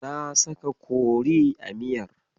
Na saka kori a miyar.